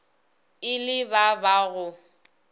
e le ba ba go